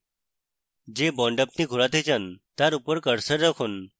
যে bond আপনি ঘোরাতে চান তার উপর cursor রাখুন